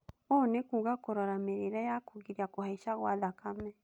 Ũũ nĩ kuuga kũrora mĩrĩĩre ya kũgiria kũhaica kwa thakame